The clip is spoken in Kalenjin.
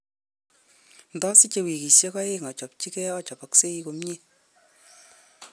Indosiche wikishek aeng ochopchige ochopoksei komie.